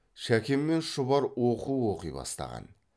шәке мен шұбар оқу оқи бастаған